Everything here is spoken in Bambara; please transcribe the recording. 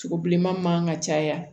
Sogo bileman man ka caya